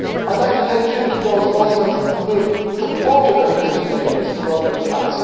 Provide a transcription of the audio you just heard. I would like to pay tribute to those Muslims who supported their Christian neighbours who were under attack.